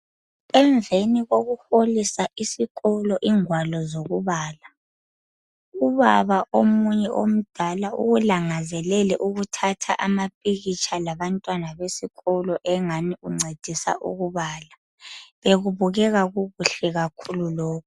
Emveni kokuholisa isikolo ingwalo zokubala, ubaba omunye omdala ulangazelele ukuthatha amapikitsha labantwana besikolo engani uncedisa ukubala, bekubukeka kukuhle kakhulu lokho.